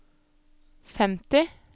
femti